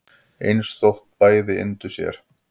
eins þótt bæði yndu sér